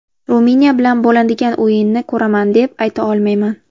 Ruminiya bilan bo‘ladigan o‘yinni ko‘raman, deb ayta olmayman.